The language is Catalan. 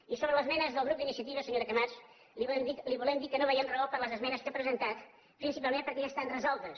i sobre les esmenes del grup d’iniciativa senyora camats li volem dir que no veiem raó per a les esmenes que ha presentat principalment perquè ja estan resoltes